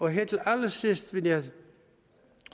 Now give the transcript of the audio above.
her til allersidst vil jeg